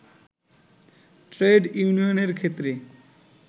trade ইউনিয়নের ক্ষেত্রে